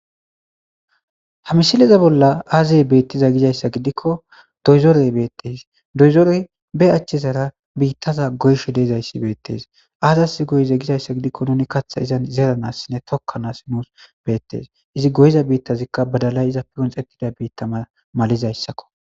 ha misileza bolla aazee beettizay gizayssa gidikko doyzorey beettes doyzorey be achchizara biittaza goyshr de7izayssi beettes aazas goyize gizayssa gidikko nuni katha izan zeeranassinne tokkanas nuus beettes izi goyiza biittazikka badalay iza pigonxettida biittaa malizayssakko